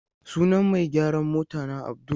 Sunan mai gyaran motana Abdul.